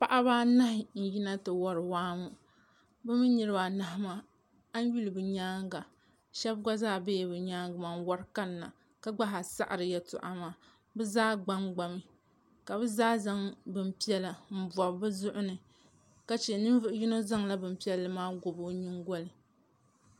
Paɣiba anahi n-yina nti wari waa ŋɔ bɛ mi niriba anahi maa a yi yuli bɛ nyaaŋa shɛba ɡba zaa bela bɛ nyaaŋa maa n-wari kanna ka ɡba zaa saɣiri yɛltɔɣa maa bɛ zaa ɡba n-ɡbami ka bɛ zaa zaŋ bin' piɛla m-bɔbi bɛ zuɣu ni ka che yino zaŋla bin' piɛlli maa ɡɔbi o nyiŋɡoli